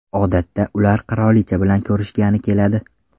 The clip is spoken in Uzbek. Odatda ular qirolicha bilan ko‘rishgani keladi.